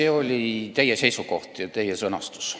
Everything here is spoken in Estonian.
See oli teie seisukoht ja teie sõnastus.